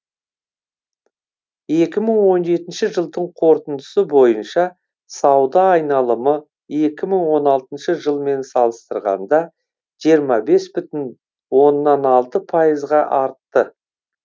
екі мың он жетінші жылдың қорытындысы бойынша сауда айналымы екі мың он алтыншы жылмен салыстырғанда жиырма бес бүтін оннан алты пайызға артты